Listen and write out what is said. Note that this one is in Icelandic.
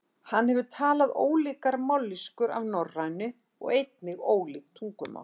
Það hefur talað ólíkar mállýskur af norrænu og einnig ólík tungumál.